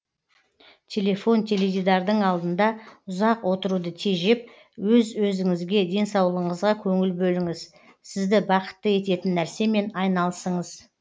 телефон теледидардың алдында ұзақ отыруды тежеп өз өзіңізге денсаулығыңызға көңіл бөліңіз сізді бақытты ететін нәрсемен айналысыңыз